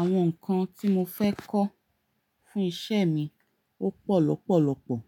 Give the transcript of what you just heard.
Àwọn nǹkan tí mo fẹ́ kọ́ fún isẹ́ mi ó pọ̀ lọ́pọ̀lọ́pọ̀.